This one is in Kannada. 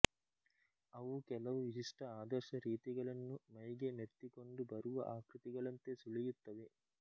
ಅವು ಕೆಲವು ವಿಶಿಷ್ಟ ಆದರ್ಶ ರೀತಿಗಳನ್ನು ಮೈಗೆ ಮೆತ್ತಿಕೊಂಡು ಬರುವ ಆಕೃತಿಗಳಂತೆ ಸುಳಿಯುತ್ತವೆ